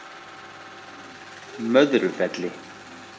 Möðrufelli